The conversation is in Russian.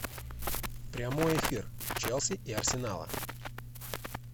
прямой эфир челси и арсенала